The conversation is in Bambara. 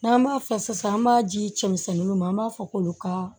N'an b'a fɔ sisan an b'a di cɛmisɛnnu ma an b'a fɔ k'olu ka